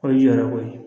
O ye jɔyɔrɔko ye